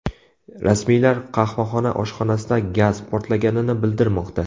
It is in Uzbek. Rasmiylar qahvaxona oshxonasida gaz portlaganini bildirmoqda.